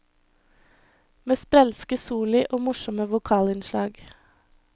Med sprelske soli og morsomme vokalinnslag.